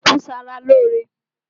Ọdùkún ń ṣe ara lóóre